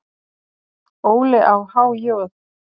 Óli á há joð?